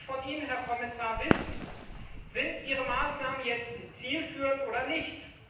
Da möchte ich von Ihnen, Herr Kommissar, wissen Sind Ihre Maßnahmen jetzt zielführend oder nicht?